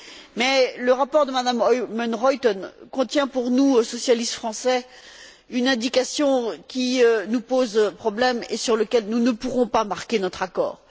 Mais le rapport de Mme Oomen Ruijten contient pour nous, socialistes français, une indication qui nous pose problème et sur laquelle nous ne pourrons pas marquer notre accord.